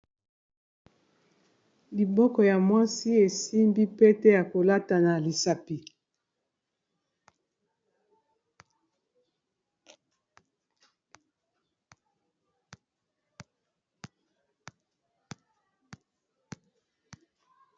loboko ya mwasi esimbi pete ya kolata na lisapi